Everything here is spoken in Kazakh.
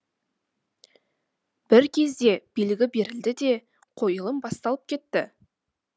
бір кезде белгі берілді де қойылым басталып кетті